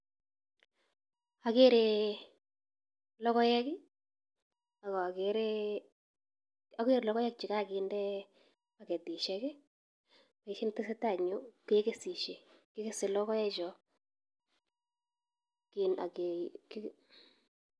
Akere logoek chekokinde baketisiek ako kikese logoek chu.